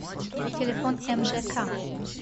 телефон мжк